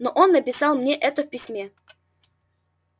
но он написал мне это в письме